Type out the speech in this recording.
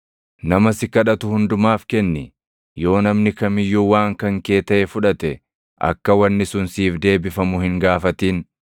Nama si kadhatu hundumaaf kenni; yoo namni kam iyyuu waan kan kee taʼe fudhate, akka wanni sun siif deebifamu hin gaafatin.